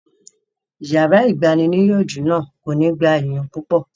Yàrá ìgbaniníyànjú náà kò ní gba èèyàn púpọ̀